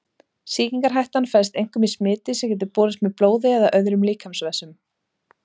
Sýkingarhættan felst einkum í smiti sem getur borist með blóði eða öðrum líkamsvessum.